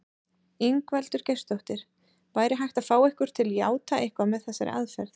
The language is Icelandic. Ingveldur Geirsdóttir: Væri hægt að fá ykkur til játa eitthvað með þessari aðferð?